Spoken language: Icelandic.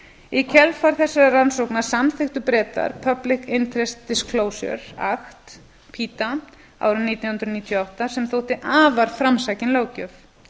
í kjölfar þessara rannsókna samþykktu bretar public interest disclosure act árið nítján hundruð níutíu og átta sem þótti afar framsækin löggjöf